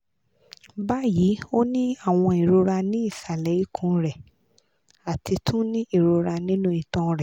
bayi o ni awọn irora ni isale ikun rẹ ati tun ni irora ninu itan rẹ